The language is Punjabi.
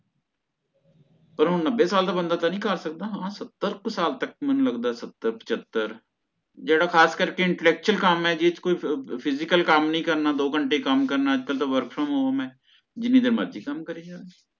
ਪਰ ਓਹ ਨੱਬੇ ਸਾਲ ਦਾ ਬੰਦਾ ਤਾ ਨਹੀਂ ਕਰ ਸਕਦਾ ਹਾਂ ਸਤੱਰ ਕੁ ਸਾਲ ਤਕ ਮੈਨੂੰ ਲੱਗਦਾ ਸਤੱਰ ਪਚਹਤਰ ਜਿਹੜਾ ਖਾਸ ਕਰਕੇ influential ਕੰਮ ਹੈ ਜੀ ਚ ਕੋਈ physical ਕੰਮ ਨਹੀਂ ਕਰਨਾ ਦੋ ਘੰਟੇ ਕੰਮ ਕਰਨਾ ਅੱਜ ਕਲ ਤਾ work from home ਹੈ ਜਿੰਨੀ ਦੇਰ ਮਰਜ਼ੀ ਕੰਮ ਕਰਿ ਚੱਲੇ